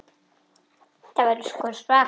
Þetta verður sko svaka veisla.